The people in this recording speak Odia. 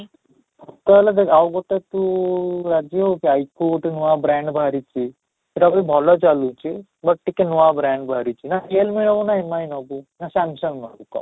ତାହେଲେ ଦେଖ ଆଉ ଗୋଟେ ତୁ ରାଜି ହେବୁ କି I phone ଗୋଟେ ନୂଆ brand ବାହାରିଛି, ସେଇଟା ବି ଭଲ ଚାଲୁଛି, but ଟିକେ ନୂଆ brand ବାହାରିଛି ନା real me ନେବୁ ନା MI ନେବୁ ନା Samsung ନେବୁ କହ?